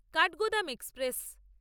Kathgodam express